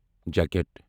J cat